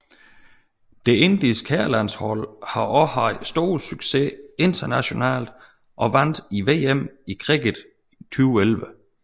Det indiske herrelandshold har også haft stor succes internationalt og vandt VM i cricket 2011